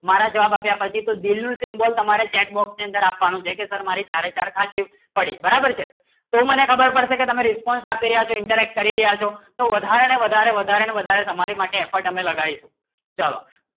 મારા જવાબ એવી તો દિલ નું symbol તમારા chat box ની અંદર આપવાનું છે જે તમે ચારે ચાર સાદ ની ફળે બરાબર છે તો મને ખબર પાસે કી તમારો response આપશે ઇન્ટરકશન કરી રહ્યા શો તો વધારે ને વધારે ને વધારે ને effort હમે લાગ્યો શો ચલો